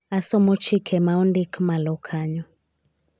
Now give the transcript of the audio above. asomo chike ma ondik malo kanyo